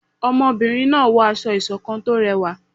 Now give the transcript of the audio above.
ọmọbìrin náà wọ aṣọ ìṣọ̀kan tó rẹwa